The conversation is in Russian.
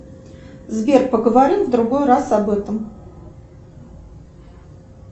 сбер поговорим в другой раз об этом